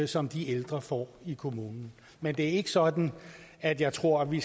som de ældre får i kommunen men det er ikke sådan at jeg tror at vi